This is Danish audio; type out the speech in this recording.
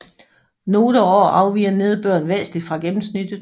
Nogle år afviger nedbøren væsentligt fra gennemsnittet